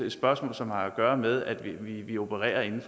et spørgsmål som har at gøre med at vi opererer inden